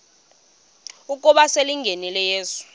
ukuba selengenile uyesu